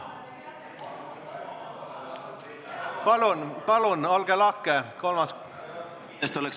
Palun, olge lahke, kolmas kord!